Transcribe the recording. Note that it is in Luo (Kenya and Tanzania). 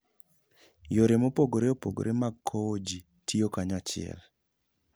Yore mopogore opogore mag kowo ji tiyo kanyachiel.